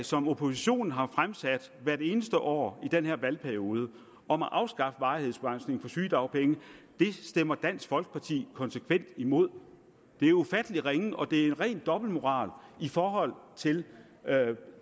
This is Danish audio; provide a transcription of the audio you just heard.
som oppositionen har fremsat hvert eneste år i den her valgperiode om at afskaffe varighedsbegrænsningen på sygedagpenge stemmer dansk folkeparti konsekvent imod det er ufattelig ringe og det er ren dobbeltmoral i forhold til